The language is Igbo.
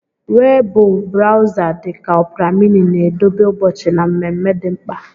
Webụ brawza dị ka Ọpra mịnị na-edobe ụbọchị na mmemme dị mkpa.